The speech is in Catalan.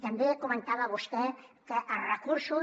també comentava vostè que els recursos